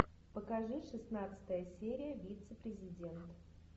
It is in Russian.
покажи шестнадцатая серия вице президент